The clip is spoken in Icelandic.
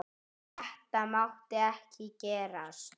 Þetta mátti ekki gerast!